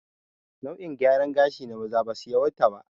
Hairstyles for men are few